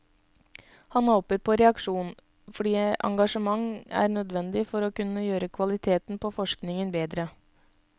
Han håper på reaksjon, fordi engasjement er nødvendig for å kunne gjøre kvaliteten på forskningen bedre.